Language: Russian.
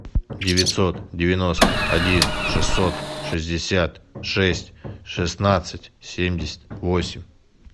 девятьсот девяносто один шестьсот шестьдесят шесть шестнадцать семьдесят восемь